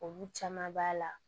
Olu caman b'a la